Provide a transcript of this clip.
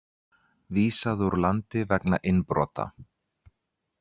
Vísað úr landi vegna innbrota